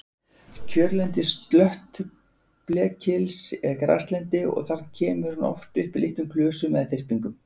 Kjörlendi slöttblekils er graslendi og kemur hann oft upp í litlum klösum eða þyrpingum.